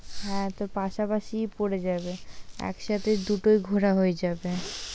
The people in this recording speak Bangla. হ্যাঁ তো পাশাপাশিই পরে যাবে, একসাথে দুটোই ঘোরা হয়ে যাবে।